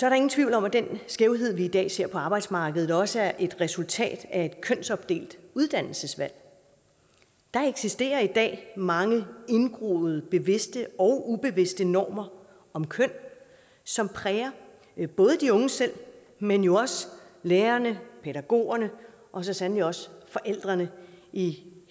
er ingen tvivl om at den skævhed vi i dag ser på arbejdsmarkedet også er et resultat af et kønsopdelt uddannelsesvalg der eksisterer i dag mange indgroede bevidste og ubevidste normer om køn som præger både de unge selv men jo også lærerne pædagogerne og så sandelig også forældrene i